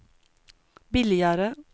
billigare